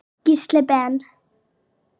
Gísli Ben.